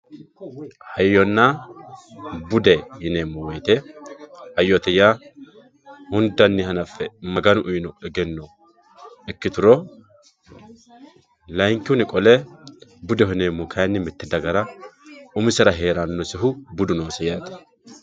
hayyonna bude yineemmo wote hoyyote yaa hundanni hanaffe maganu uyiino egenno ikkituro layiinkihunni qole budeho yineemmohu kayiinni mitte dagara umisera heerannosehu budu noose yaate.